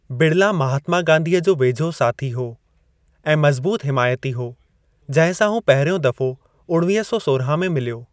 बिड़ला महात्‍मा गांधीअ जो वेझो साथी हो ऐं मज़बूत हिमायती हो, जंहिं सां हू पहिरियों दफो उणवीह सौ सोरहां में मिल्‍यो।